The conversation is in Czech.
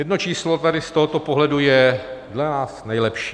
Jedno číslo tady z tohoto pohledu je dle nás nejlepší.